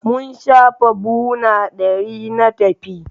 Mun shafa buhuna ɗari na taki.